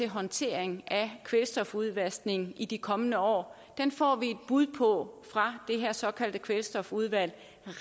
håndtering af kvælstofudvaskning i de kommende år får vi et bud på fra det såkaldte kvælstofudvalg